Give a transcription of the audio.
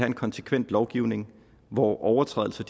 en konsekvent lovgivning hvor overtrædelser